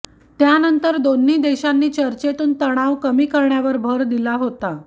त्यानंतर दोन्ही देशांनी चर्चेतून तणाव कमी करण्यावर भर दिला होता